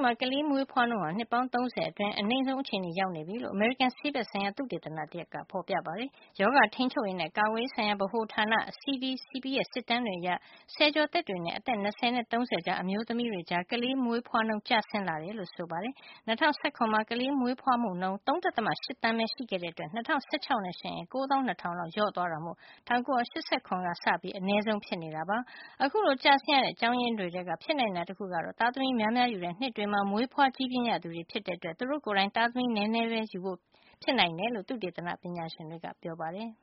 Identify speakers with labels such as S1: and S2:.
S1: မှာ ကလေးမွေးဖွားနှုန်းဟာ နှစ်ပေါင်း ၃၀ အတွင်း အနိမ့်ဆုံး အခြေနေရောက်နေပြီလို့ အမေရိကန် ဆေးဘက် ဆိုင်ရာ သုတေသနတရပ်မှာ တွေ့ရပါတယ်။ ရောဂါထိန်းချုပ်ရေးနဲ့ ကာကွယ်ရေးဆိုင်ရာဗဟိုဌာန CDCP ရဲ့ စစ်တမ်းတွေအရ ဆယ်ကျော်သက်တွေနဲ့ အသက် ၂၀ နဲ့ ၃၀ ကြားအမျိုးသမီးတွေကြား ကလေးမွေးဖွားနှုန်း ကျဆင်းလာတာ တွေ့ရပါတယ်။ ၂၀၁၇ ထဲမှာ ကလေးမွေးဖွားမှု ၃. ၈ သန်းပဲ ရှိခဲ့တာကြောင့် ၂၀၁၆ နဲ့ယှဉ်ရင် ၉၂၀၀၀ လောက်ကို လျော့နဲသွားတာမို့၁၉၈၇ ခုနှစ်က စပြီး အနဲဆုံး ဖြစ်နေပါတယ်။ အခုလို ကျဆင်းရတဲ့ အကြောင်းရင်းတွေထဲက ဖြစ်နိုင်တာ တခုကတော့ သားသမီးများများယူတဲ့ နှစ်တွေမှာ မွေးဖွားကြီးပြင်းလာရသူတွေ ဖြစ်တဲ့အတွက် သူတို့ကိုယ်တိုင် သားသမီးနည်းနည်းပဲ ယူဖို့ဆုံးဖြတ်တာကြောင့် ဖြစ်နိုင်တယ်လို့ သုတေသ
S2: န ပညာရှင်တွေက ပြောပါတယ်။